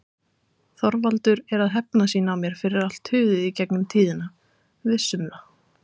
Þorvaldur er að hefna sín á mér fyrir allt tuðið í gegnum tíðina. Viss um það!